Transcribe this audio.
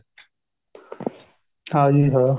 ਹਾਂਜੀ ਹਾਂ